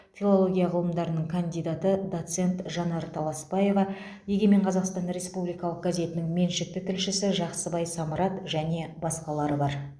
филология ғылымдарының кандидаты доцент жанар таласпаева егемен қазақстан республикалық газетінің меншікті тілшісі жақсыбай самрат және басқалары бар